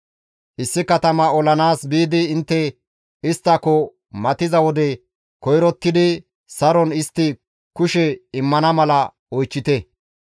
Issi katama olanaas biidi intte isttako matiza wode koyrottidi saron istti kushe immana mala oychchite.